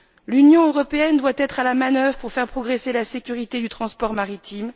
L'Union européenne doit être à la manœuvre pour faire progresser la sécurité du transport maritime.